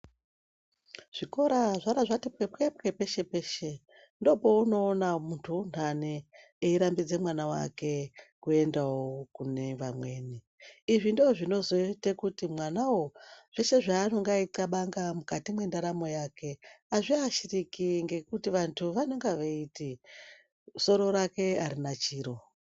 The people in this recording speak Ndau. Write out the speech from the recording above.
Zvikora zvara zvati pwepwepwe peshe-peshe ndopounoona muntu unhani eirambidze mwana wake kuendawo kune vamweni. Izvi ndozvinozoite kuti mwanawo zveshe zvanonga eikabanga mukati mwendaramo yake azviashiriki ngekuti vantu vanenge veiti soro rake arina chiro.